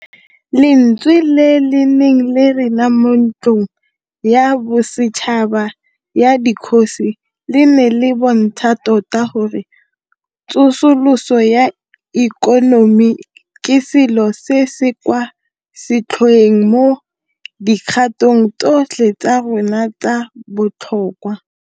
Lentswe le le neng le rena mo Ntlong ya Bosetšhaba ya Dikgosi le ne le bontsha tota gore tsosoloso ya ikonomi ke selo se se kwa setlhoeng mo dikgatong tsotlhe tsa rona tsa botlhokwa.